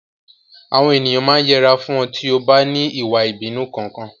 Àwọn ènìyàn máa yẹra fún ọ tí o bá ní ìwà ìbínú Kankan.